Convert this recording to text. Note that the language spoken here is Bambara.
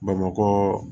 Bamakɔ